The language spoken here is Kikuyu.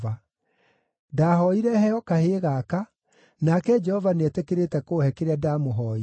Ndahooire heo kahĩĩ gaka, nake Jehova nĩetĩkĩrĩte kũũhe kĩrĩa ndamũhooire.